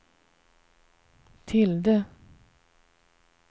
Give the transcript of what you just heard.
tilde